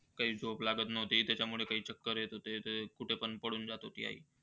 काही झोप लागत नव्ह्ती त्यामुळे काही चक्कर येत होती. ते ते कुठे पण पडून जात होती आई.